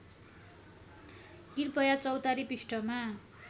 कृपया चौतारी पृष्ठमा